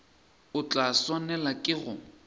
o tla swanelwa ke go